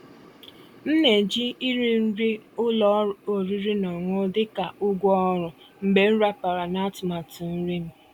M ná-èjí íri nrí ụ́lọ̀ ọ̀rị́rị́ ná ọ̀ṅụ̀ṅụ̀ dị́ kà ụ̀gwọ́ ọ̀rụ́ mgbe m ràpàrà ná àtụ̀màtụ́ nrí m.